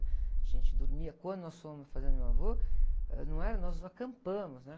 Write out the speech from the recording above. A gente dormia, quando nós fomos fazer no meu avô, ãh, não era, nós não acampamos, né?